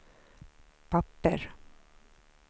papper